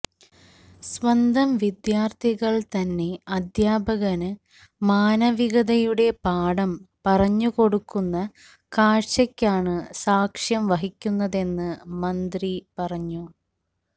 സ്വന്തം വിദ്യാര്ത്ഥികള് തന്നെ അധ്യാപകന് മാനവികതയുടെ പാഠം പറഞ്ഞുകൊടുക്കുന്ന കാഴ്ചയ്ക്കാണ് സാക്ഷ്യം വഹിക്കുന്നതെന്ന് മന്ത്രി പറഞ്ഞു